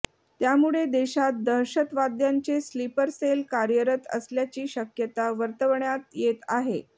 त्यामुळे देशात दहशतवाद्यांचे स्लिपर सेल कार्यरत असल्याची शक्यता वर्तवण्यात येत आहे